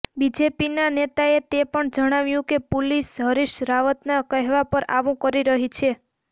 બીજેપીના નેતાએ તે પણ જાણાવ્યું કે પુલિસ હરિશ રાવતના કહેવા પર આવું કરી રહી છે